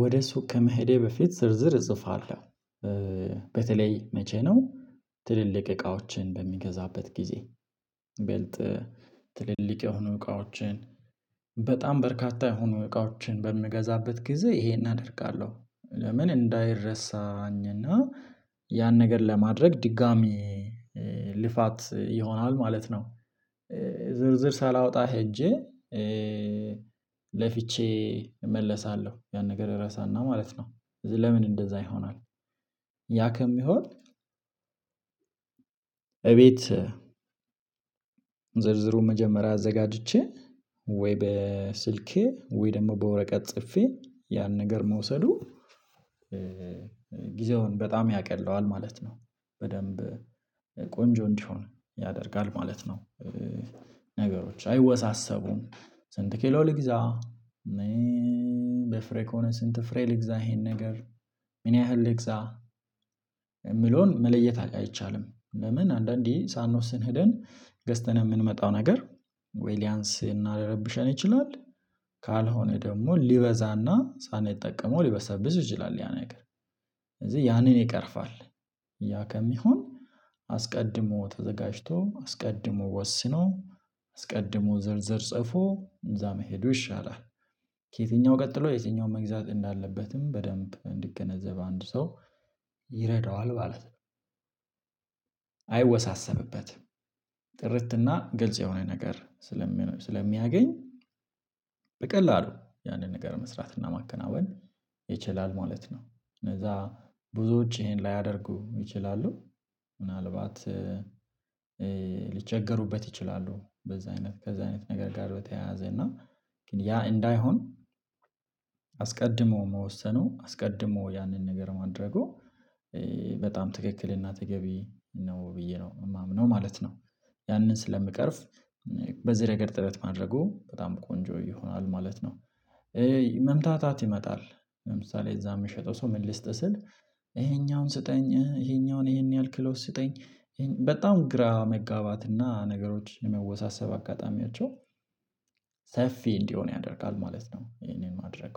ወደ ሱቅ ከመሄዴ በፊት ዝርዝር እጽፋለሁ። በተለይ መቼ ነው ትልልቅ እቃዎችን በሚገዛበት ጊዜ ብልጥ ትልልቅ የሆኑ እቃዎችን በርካታ የሆኑ እቃዎችን በምገዛበት ጊዜ ይሄን አደርጋለሁ ለምን እንዳይረሳኝና እና ያን ነገር ለማድረግ ድጋሚ ልፋት ይሆናል ማለት ነው። ዝርዝር ሳላወጣ ሄጄ ለፍቼ እመለሳለሁ። ያን ነገር ራሳና ማለት ነው ለምን እንደዛ ይሆናል? ያ ከሚሆን እቤት ዝርዝሩን መጀመሪያ አዘጋጅቼ ወይ በስልኬ ወይ ደግሞ በወረቀት ጽፌ ያን ነገር መውሰዱ ጊዜውን በጣም ያቀለዋል ማለት ነው። በደንብ ቆንጆ እንዲሆን ያደርጋል ማለት ነው። ነገሮች አይወሳሰቡም ስንት ኬሎ ልግዛ በፍሬ ከሆነ ስንት ፍሬ ልግዛ ይሄን ነገር ምን ያህል ልግዛ የምለውን መለየት አይቻልም? ለምን አንዳንዴ ሳንወስን ሄደን ገዝተን የምንመጣው ነገር ወይ ሊያንስ እና ሊረብሸን ይችላል። ካልሆነ ደግሞ ሊበዛና ሳንጠቀመው ሊበሰብስ ይችላል ያ ነገር ስለዚህ ያንን ይቀርፋል። ያ ከሚሆን አስቀድሞ ተዘጋጅቶ አስቀድሞ ወስኖ አስቀድሞ ዘርዘር ጽፎ እዛ መሄዱ ይሻላል። ከየትኛው ቀጥሎ የትኛውን መግዛት እንዳለበትም በደንብ እንድገነዘብ አንድ ሰው ይረዳዋል ማለት ነው። አይወሳሰብበትም ጥርትና ግልጽ የሆነ ነገር ስለሚያገኝ በቀላሉ ያንን ነገር መስራት እና ማከናወን ይችላል ማለት ነው። ከዛ ብዙዎች ይሄን ላያደርጉ ይችላሉ ምናልባት ሊቸገሩበት ይችላሉ። በዛ አይነት ከዛ አይነት ነገር ጋር በተያያዘ እና ግን ያ እንዳይሆን አስቀድሞ መወሰኑ አስቀድሞ ያንን ነገር ማድረጉ በጣም ትክክልና ተገቢ ነው ብዬ ነው የማምነው ማለት ነው። ያንን ስለምቀርፍ በዚህ ረገድ ጥረት ማድረጉ በጣም ቆንጆ ይሆናል ማለት ነው። መምታታት ይመጣል ለምሳሌ እዛ የምሸጠው ሰው ምን ልስጥ ስል ይሄኛውን ስጠኝ ይሄኛውን ይሄን ያህል ኪሎ ስጠኝ በጣም ግራ መጋባትና ነገሮች የመወሳሰብ አጋጣሚያቸው ሰፊ እንዲሆን ያደርጋል ማለት ነው። ይሄንን ማድረግ